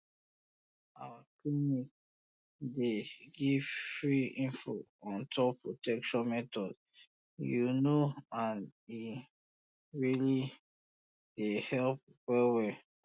our clinic dey um give free info on top protection methods you know and e um really dey help well well